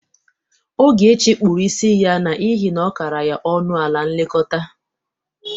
Ogechi kpụrụ isi ya n'ihe na ọ kara ya ọnụ ala ilekọta.